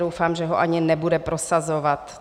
Doufám, že ho ani nebude prosazovat.